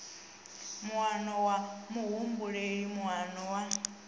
muano wa muhumbeli moano wa